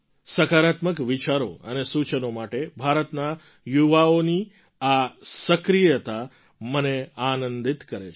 સકારાત્મક વિચારો અને સૂચનો માટે ભારતના યુવાઓની આ સક્રિયતા મને આનંદિત કરે છે